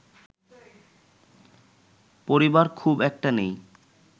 পরিবার খুব একটা নেই